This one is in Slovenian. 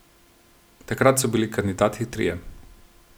Takrat so bili kandidati trije.